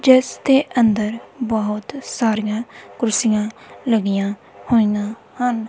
ਜਿਸ ਦੇ ਅੰਦਰ ਬਹੁਤ ਸਾਰੀਆਂ ਕੁਰਸੀਆਂ ਲੱਗੀਆਂ ਹੋਈਆਂ ਹਨ।